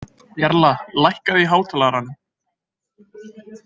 Jarla, lækkaðu í hátalaranum.